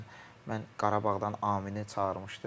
Məsəl üçün mən Qarabağdan Aminini çağırmışdım.